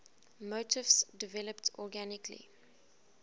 motifs developed organically